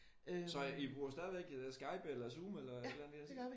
Så I bruger stadigvæk Skype eller Zoom eller et eller andet i den stil?